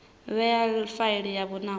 vhewa kha faili yavho nahone